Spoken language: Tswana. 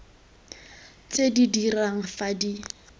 tse di dirang fa di